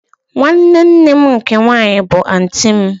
Nwanne nne m nke nwanyị bụ anti m